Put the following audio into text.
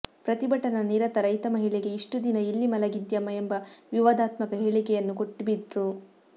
ಪ್ರತಿಭಟನಾ ನಿರತ ರೈತ ಮಹಿಳೆಗೆ ಇಷ್ಟುದಿನ ಎಲ್ಲಿ ಮಲಗಿದ್ಯಮ್ಮಾ ಎಂಬ ವಿವಾದಾತ್ಮಕ ಹೇಳಿಕೆಯನ್ನೂ ಕೊಟ್ಬಿದ್ರು